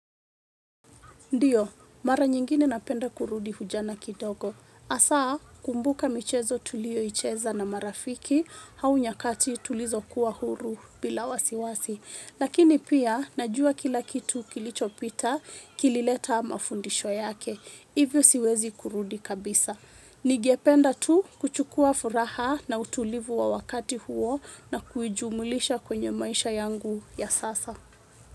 Ndiyo, mara nyingine napenda kurudi ujana kidogo. Hasa kumbuka michezo tuliyoicheza na marafiki au nyakati tulizokuwa huru bila wasiwasi lakini pia, najua kila kitu kilichopita kilileta mafundisho yake. Hivyo siwezi kurudi kabisa. Ningependa tu kuchukua furaha na utulivu wa wakati huo na kuijumulisha kwenye maisha yangu ya sasa.